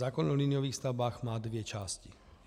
Zákon o liniových stavbách má dvě části.